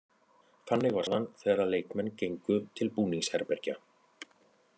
Þannig var staðan þegar að leikmenn gengu til búningsherbergja.